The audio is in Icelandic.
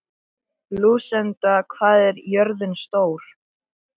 Lúsinda, hvað er jörðin stór?